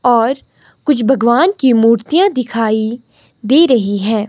और कुछ भगवान की मूर्तियां दिखाई दे रही हैं।